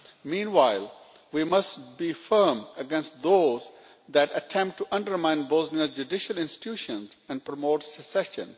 Meanwhile we must be firm against those that attempt to undermine Bosnia's judicial institutions and promote secession.